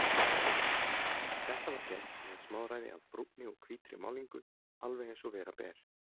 Þetta var gert með smáræði af brúnni og hvítri málningu, alveg eins og vera ber.